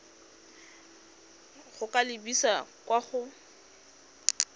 go ka lebisa kwa go